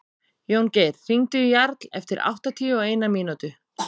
Jóngeir, hringdu í Jarl eftir áttatíu og eina mínútur.